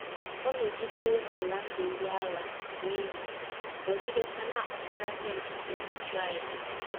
Ọ nọgidewo na - ala ndụ ndị agha n’iyi, nọgidekwa na - akpatara ndị nkịtị nhụjuanya.